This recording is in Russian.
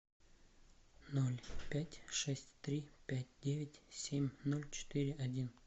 ноль пять шесть три пять девять семь ноль четыре один